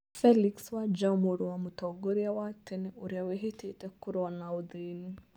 Felix Wanjaũ mũrũ wa mũtongoria wa tene ũrĩa wĩvĩtĩte kũrũa na ũthĩni.